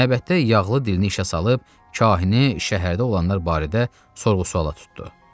Məbətdə yağlı dilini işə salıb kahini şəhərdə olanlar barədə sorğu-suala tutdu.